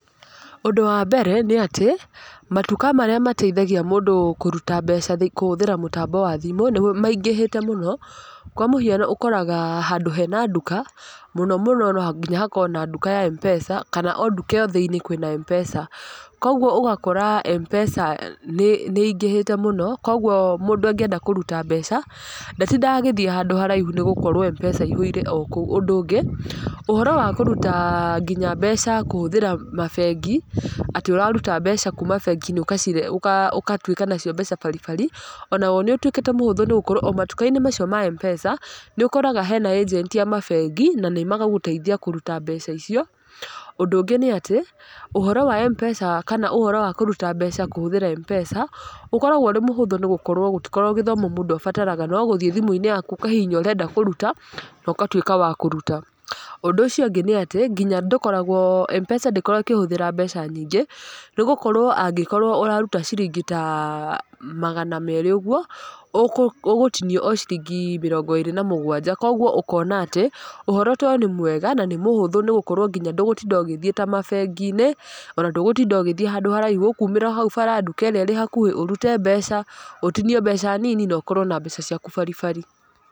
Ũndũ wa mbere, nĩ atĩ, matuka marĩa mateithagia mũndũ kũruta mbeca kũhũthĩra mũtambo wa thimũ, nĩ maingĩhĩte mũno. Kwa mũhiano okaraga handũ hena nduka, mũno mũno no nginya hakorwo na nduka ya M-Pesa, kana ona nduka thĩiniĩ kwĩna M-Pesa. Koguo ũgakora M-Pesa nĩ nĩ ĩingĩhĩte mũno, koguo mũndũ angĩenda kũruta mbeca, ndatindaga agĩthiĩ handũ haraihu nĩ gũkorwo M-Pesa ĩihũire o kũo. Ũndũ ũngĩ, ũhoro wa kũruta nginya mbeca kũhũthĩra mabengi, atĩ ũraruta mbeca kuuma bengi-inĩ ũkacirehe ũkatuĩka nacio mbeca baribari, onaguo nĩ ũtuĩkĩte mũhũthũ nĩ gũkorwo o matuka-inĩ macio ma M-Pesa, nĩ ũkoraga hena agent, a mabengi, na magagũteithia kũruta mbeca icio. Ũndũ ũngĩ nĩ atĩ, ũhoro wa M-Pesa kana ũhoro wa kũruta mbeca kũhũthĩra M-Pesa, ũkoragwo ũrĩ mũhũthũ nĩ gũkoragwo gũtikoragwo gĩthomo mũndũ abataraga no gũthiĩ thimũ-inĩ yaku ũkahihinya ũrenda kũruta, no ũkatuĩka wa kũruta. Ũndũ ũcio ũngĩ nĩ atĩ, nginya ndũkoragwo M-Pesa ndĩkoragwo ĩkĩhũthĩra mbeca nyingĩ, nĩ gũkorwo angĩkorwo ũraruta ciringi ta magana meerĩ ũguo, ũgũtinio o ciringi mĩrongo ĩrĩ na mũgwanja. Koguo ũkona atĩ, ũhoro ta ũyũ nĩ mwega, na nĩ mũhũthũ nĩ gũkorwo nginya ndũgũtinda ũgĩthiĩ ta mabengi-inĩ, ona ndũgũtinda ũgĩthiĩ handũ haraihu, ũkuumĩra o hau bara nduka ĩrĩa ĩrĩ hakuhĩ ũrute mbeca, ũtinio mbeca nini, na ũkorwo na mbeca ciaku baribari.